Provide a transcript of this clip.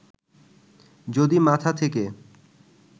যদি মাথা থেকে